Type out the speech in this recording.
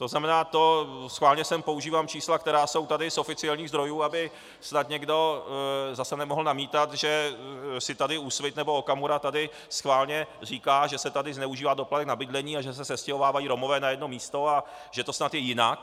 To znamená, schválně sem používám čísla, která jsou tady z oficiálních zdrojů, aby snad někdo zase nemohl namítat, že si tady Úsvit nebo Okamura tady schválně říká, že se tady zneužívá doplatek na bydlení a že se sestěhovávají Romové na jedno místo a že to snad je jinak.